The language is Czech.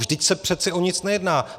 Vždyť se přeci o nic nejedná.